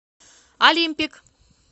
алимпик